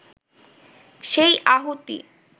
সেই আহুতি